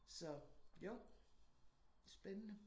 Så jo. Spændende